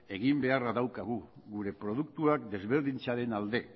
egin beharra daukagu gure produktuak desberdintzearen alde